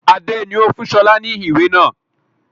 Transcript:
Adé ni ó fún sọlá ni ìwé náà